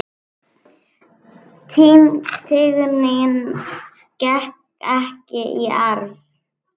Tignin gekk ekki í arf.